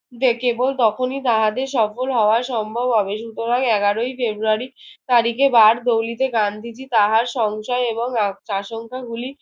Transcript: যে কেবল তখনই তাহাদের সফল হওয়া সম্ভব হবে। সুতরাং, এগারোই ফেরুয়ারি তারিখে বারদৌঁলিতে গান্ধীজি তাহার সংশয় এবং আ আশংকাগুলি